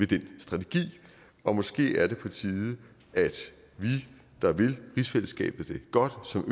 den strategi og måske er det på tide at vi der vil rigsfællesskabet det godt og som